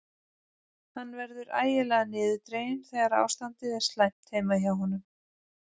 Hann verður ægilega niðurdreginn þegar ástandið er slæmt heima hjá honum.